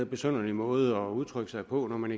besynderlig måde at udtrykke sig på når man